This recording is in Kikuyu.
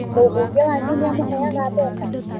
Mũbũnge wanyu nĩamũheaga mbeca?